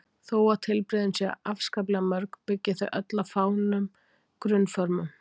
Þó að tilbrigðin séu afskaplega mörg byggja þau öll á fáum grunnformum.